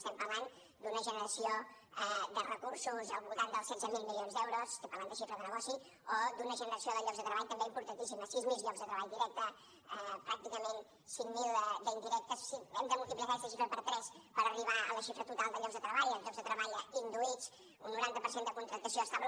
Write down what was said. estem parlant d’una generació de recursos al voltant dels setze mil milions d’euros estic parlant de xifra de negoci o d’una generació de llocs de treball també importantíssima sis mil llocs de treball directes pràcticament cinc mil d’indirectes hem de multiplicar aquesta xifra per tres per arribar a la xifra total de llocs de treball els llocs de treball induïts un noranta per cent de contractació estable